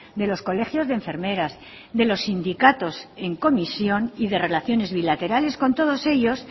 de los colegios de enfermeras de los sindicatos en comisión y de relaciones bilaterales con todos ellos